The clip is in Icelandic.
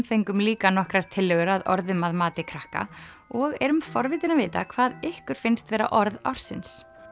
fengum líka nokkrar tillögur að orðum að mati krakka og erum forvitin að vita hvað ykkur finnst vera orð ársins